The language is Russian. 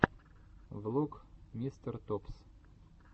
влог мистер топс